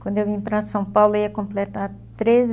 Quando eu vim para São Paulo, eu ia completar treze